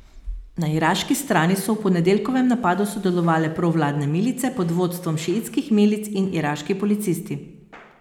Na iraški strani so v ponedeljkovem napadu sodelovale provladne milice pod vodstvom šiitskih milic in iraški policisti.